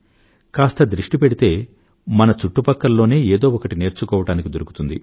కాస్త దృష్టి పెడితే మన చుట్టుపక్కలలోనే ఏదో ఒకటి నేర్చుకోవడానికి దొరుకుతుంది